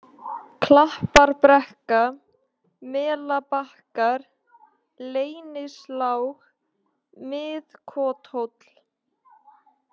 Klapparbrekka, Melabakkar, Leynislág, Mið-Kothóll